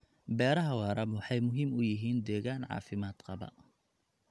Beeraha waara waxay muhiim u yihiin deegaan caafimaad qaba.